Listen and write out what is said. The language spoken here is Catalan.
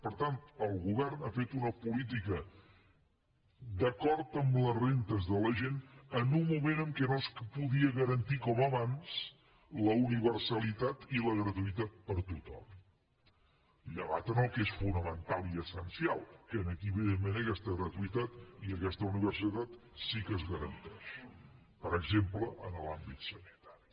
per tant el govern ha fet una política d’acord amb la renda de la gent en un moment en què no es podia garantir com abans la universalitat i la gratuïtat per a tothom llevat en el que és fonamental i essencial que aquí evidentment aquesta gratuïtat i aquesta universalitat sí que es garanteix per exemple en l’àmbit sanitari